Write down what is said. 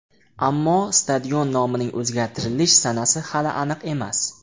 Ammo stadion nomining o‘zgartirilish sanasi hali aniq emas.